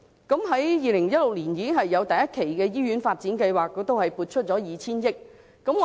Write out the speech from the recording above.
在2016年已有第一期的醫院發展計劃，當時亦為此撥出 2,000 億元。